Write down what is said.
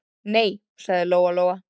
Nei, sagði Lóa-Lóa.